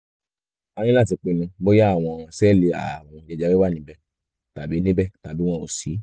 a ní láti pinnu bóyá àwọn sẹ́ẹ̀lì ààrùn jẹjẹrẹ wà níbẹ̀ tàbí níbẹ̀ tàbí wọn ò sí